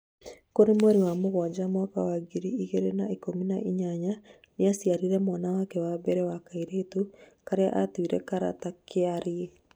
kũrĩ mweri wa mũgwanja mwaka wa ngiri ĩgĩrĩ na ikũmi na inyanya, niaciarire mwana wake wa mbere wa kairĩtu karia atuire - Karata kiarĩ